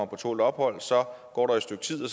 på tålt ophold går et stykke tid og